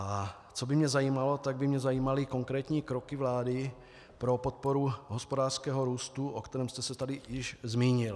A co by mě zajímalo, tak by mě zajímaly konkrétní kroky vlády pro podporu hospodářského růstu, o kterém jste se tady již zmínil.